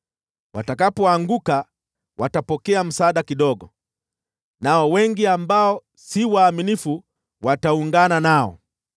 Watakapoanguka, watapokea msaada kidogo, nao wengi ambao si waaminifu wataungana nao.